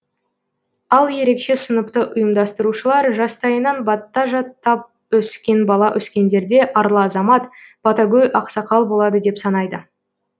ал ерекше сыныпты ұйымдастырушылар жастайынан бата жаттап өскен бала өскенде арлы азамат батагөй ақсақал болады деп санайды